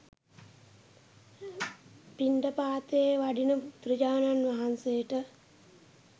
පිණ්ඩපාතයේ වඩින බුදුරජාණන් වහන්සේට